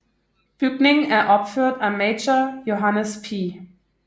Bygningen er opført af Major Johannes P